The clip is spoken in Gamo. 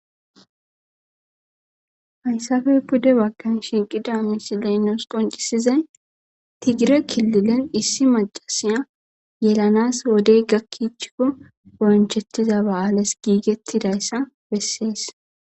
Hayssafey pude baggan shiiqida misi leynos qoncisizay tigire kililen issi macasiya yelanas wodey gakkichikko gonchettiza ba'aale giigettidayssa bessees.